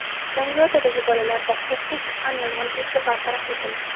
Zangiotadagi bolalar bog‘chasida chiqqan yong‘in tezda bartaraf etildi.